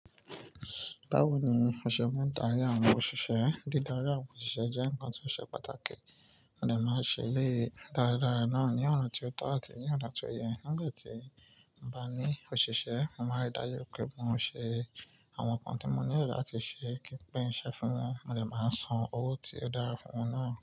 Báwo ni o ṣe máa ń darí àwọn òṣìṣẹ́? Dídarí àwọn òṣìṣẹ́ jẹ́ ǹkan tí ó ṣe pàtàkì. Mo de máa ṣe eléyi daradara náà ní ọ̀nà tí ó tọ́ àti ní ọ̀nà tó yẹ. Nigba tí mo bá ní òṣìṣẹ́, mo máa n ri dájú wipé mo ń ṣe àwọn nkan tí mo nílò láti ṣe kí n pin iṣe fún wọn. Mo dè máa n san owó tí ó dára fún wọn náà.